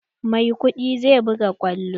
Maikudi zai buga kwallo.